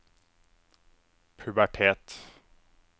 pubertet